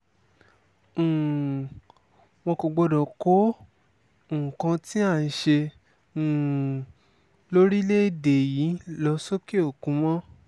um wọn kò gbọdọ̀ kó nǹkan tí à ń ṣe um lórílẹ̀‐èdè yìí lọ sọ́kẹ́-òkun mọ́